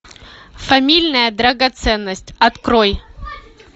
фамильная драгоценность открой